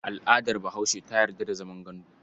Al'adar Bahaushe ta yarda da zaman gandu.